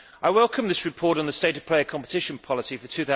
I welcome this report on the state of play of competition policy for